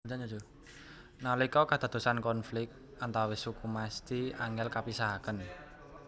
Nalika kadadosan konflik antawis suku mesthi angel kapisahaken